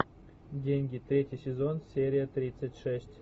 деньги третий сезон серия тридцать шесть